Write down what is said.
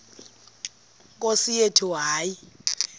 nkosi yethu hayi